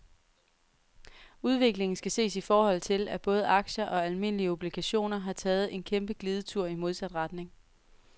Udviklingen skal ses i forhold til, at både aktier og almindelige obligationer har taget en kæmpe glidetur i modsat retning.